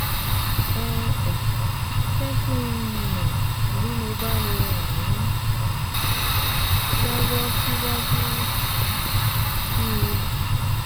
Ẹ um jẹ́ kí n mọ̀ bí mo bá lè ràn yín um lọ́wọ́ síwájú um sí i